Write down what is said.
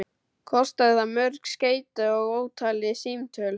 Kostaði það mörg skeyti og ótalin símtöl.